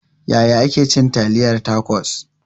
Yaya ake cin taliyar tacos?